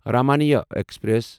Ramayana express